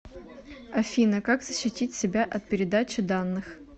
афина как защитить себя от передачи данных